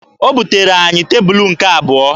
O butere anyị tebulu nke abụọ